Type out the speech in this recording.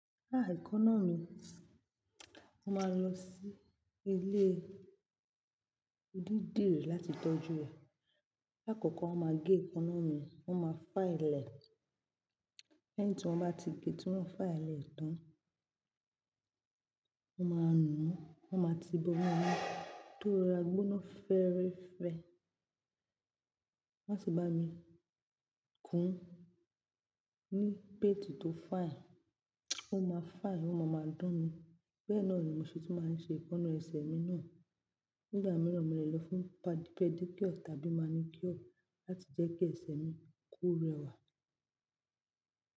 Ekan-náà mi, mo máa lọ sí ilé onídìrí láti tọ́jú ẹ. Lá koko, wọn máa gé èékánná mi, wón máa file li'ẹ̀. Lẹ́yìn tí wọ́n bá ti gé tí wọ́n file li'ẹ̀ tán, wọ́n máa nùú, wọ́n máa ti bó inu omi tó rora gbóná fẹ́ẹ́rẹ́fẹ́. Wọ́n tun bá mi kún ní paint tó fine, ó máa fìne, ó máa máa dán ni. Tori e náà ni mo ṣe tú máa ṣe ekọ́nná ẹsẹ̀ mi náà. Nígbà mìíràn, mo lè lọ fún pàdícure tàbí màníkíọ̀ láti jẹ́ kí ẹsẹ̀ mi ko rẹwà.